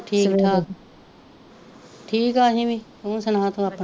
ਠੀਕ ਠਾਕ, ਠੀਕ ਆ ਅਸੀ ਵੀ ਤੂ ਸੁਨਾਂ ਤੂ ਆਪਣਾ,